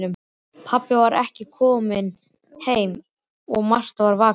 Pabbi var ekki kominn heim og Marta var vakandi.